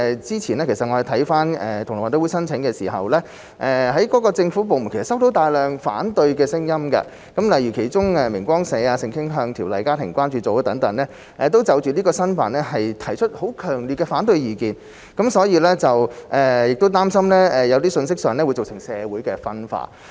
之前同樂運動會申請舉辦時，政府部門收到大量反對聲音，例如明光社、性傾向條例家校關注組等，就這次申辦提出強烈的反對意見，擔心有些信息會造成社會分化。